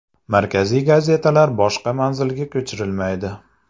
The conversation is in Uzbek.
Markaziy gazetalar boshqa manzilga ko‘chirilmaydi.